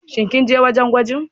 Shin kinje wajan gwajin?